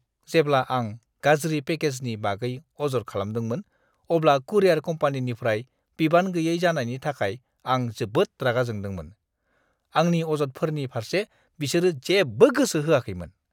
जेब्ला आं गाज्रि पेकेजनि बागै अजद खालामदोंमोन अब्ला कुरियर कम्पानिनिफ्राय बिबान गैयै जानायनि थाखाय आं जोबोद रागा जोंदोंमोन। आंनि अजदफोरनि फारसे बिसोरो जेबो गोसो होआखैमोन।